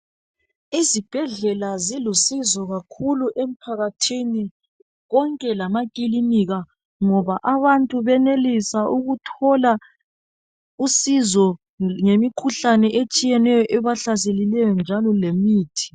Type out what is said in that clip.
Izibhedlela zilusizo kakhulu emphakathini konke lamakilinika ngoba abantu benelisa ukuthola usizo ngemikhuhlane etshiyeneyo ebahlaselileyo njalo lemithi.